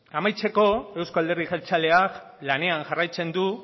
amaitzeko euzko alderdi jeltzaleak lanean jarraitzen du